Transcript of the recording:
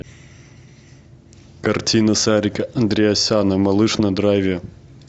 картина сарика андреасяна малыш на драйве